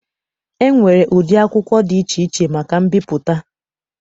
E nwere ụdị akwụkwọ dị iche iche maka mbipụta.